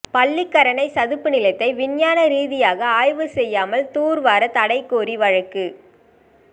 பள்ளிக்கரணை சதுப்பு நிலத்தை விஞ்ஞான ரீதியாக ஆய்வு செய்யாமல் தூர் வார தடை கோரி வழக்கு